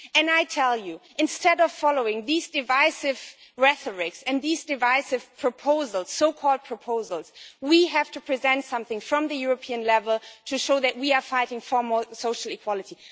And, I tell you, instead of following this divisive rhetoric and these divisive so called proposals, we need to present something from European level to show that we are fighting for greater social equality.